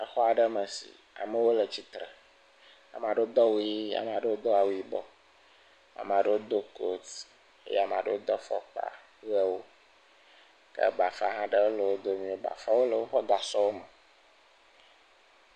Exɔ aɖe me si amewo le tsitre. Ame aɖewo do awu ʋi, ame aɖewo do awu yibɔ, ame aɖewo do koti eye ame aɖewo do afɔkpa ʋewo ke bafa hã aɖe le wo domi. Bafawo le woƒe gasɔ me.